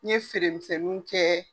Ne ye feeremisɛnninw kɛ.